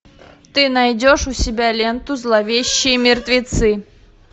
ты найдешь у себя ленту зловещие мертвецы